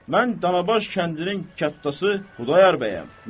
Mən Canabaş kəndinin kətxası Xudayar bəyəm.